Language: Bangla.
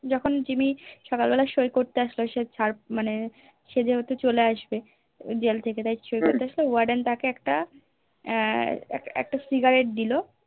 যখন জিম্মি সকালবেলা সই করতে আসলো সে ছাড় মানে সে যেহেতু চলে আসবে Jail থেকে তাই সই করতে আসলে Warden তাকে একটা এর একটা Cigarette দিল